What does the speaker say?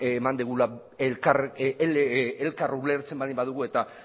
eman dugula elkar ulertzen baldin badigu eta